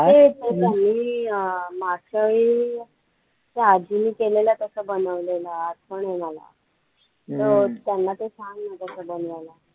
ए ते त्यांनी अं मागच्यावेळी त्या आजींनी केलेलं तसं बनवलेलं आठवण आहे मला तर त्यांना ते सांग ना तसं बनवायला